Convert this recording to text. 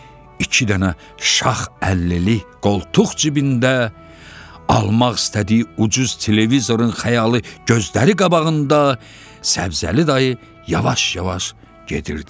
İki dənə şax əllili qoltuq cibində almaq istədiyi ucuz televizorun xəyalı gözləri qabağında Səbzəli dayı yavaş-yavaş gedirdi.